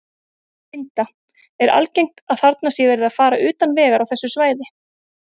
Linda: Er algengt að þarna sé verið að fara utan vegar á þessu svæði?